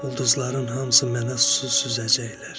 Ulduzların hamısı mənə susuz süzəcəklər.